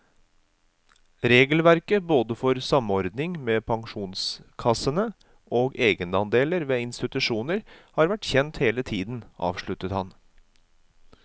Regelverket både for samordning med pensjonskassene og egenandeler ved institusjoner har vært kjent hele tiden, avsluttet han.